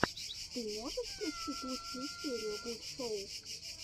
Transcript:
ты можешь включить лучшую серию гуд шоу